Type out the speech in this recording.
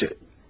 Bu gecə.